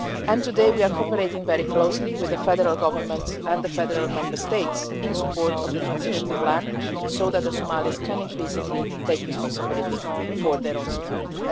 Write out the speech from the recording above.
and today we are cooperating very closely with the federal government and the federation member states in support of the transition plan so that the Somalis can increasingly take responsibility for their own security.